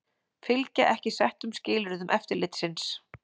Fylgja ekki settum skilyrðum eftirlitsins